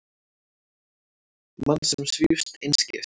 Mann sem svífst einskis.